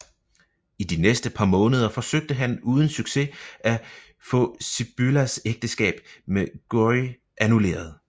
I de næste par måneder forsøgte han uden succes at få Sibyllas ægteskab med Guy annulleret